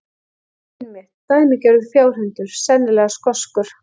Einmitt, dæmigerður fjárhundur, sennilega skoskur.